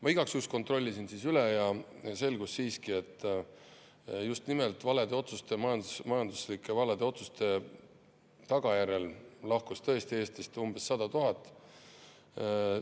Ma igaks juhuks kontrollisin üle ja selgus siiski, et just nimelt valede otsuste, majanduslike valede otsuste tagajärjel lahkus Eestist tõesti umbes 100 000 inimest.